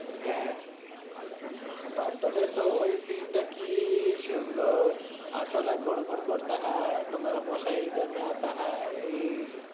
হ্যাঁ, প্রাক্তনের তহ ওই scence টা কি সুন্দর, আসলা ঘুর ঘুর করতা হাই তোমারা মশা ইধারমে আতা হায়, ই,